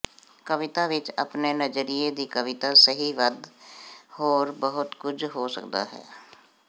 ਕਵਿਤਾ ਵਿਚ ਆਪਣੇ ਨਜ਼ਰੀਏ ਦੀ ਕਵੀਤਾ ਸਹੀ ਵੱਧ ਹੋਰ ਬਹੁਤ ਕੁਝ ਹੋ ਸਕਦਾ ਹੈ